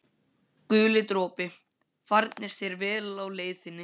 Guli dropi, farnist þér vel á leið þinni.